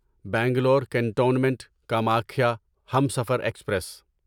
Bangalore cantonment Kamakhya Humsafar express